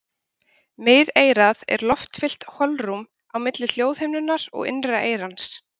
Miðeyrað er loftfyllt holrúm á milli hljóðhimnunnar og innra eyrans.